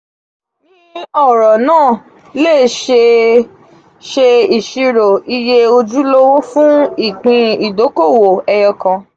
ni ọro naa a le ṣe ṣe iṣiro iye ojulowo fun ipin idokowo eyo kan.